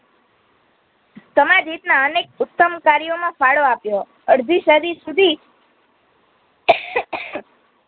સમજહિતના અનેક ઉત્તમ કાર્યોમાં ફાડો આપ્યો અડધી સુદી